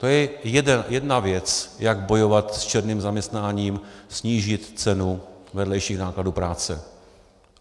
To je jedna věc, jak bojovat s černým zaměstnáním, snížit cenu vedlejších nákladů práce.